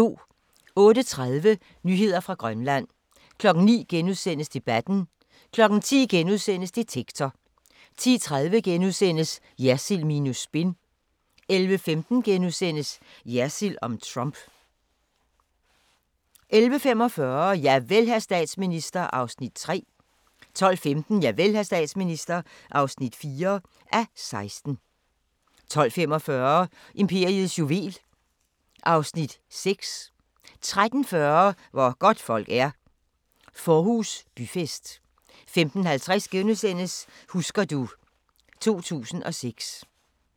08:30: Nyheder fra Grønland 09:00: Debatten * 10:00: Detektor * 10:30: Jersild minus spin * 11:15: Jersild om Trump * 11:45: Javel, hr. statsminister (3:16) 12:15: Javel, hr. statsminister (4:16) 12:45: Imperiets juvel (Afs. 6) 13:40: Hvor godtfolk er – Fårhus Byfest 15:50: Husker du ... 2006 *